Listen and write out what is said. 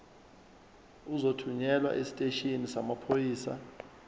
uzothunyelwa esiteshini samaphoyisa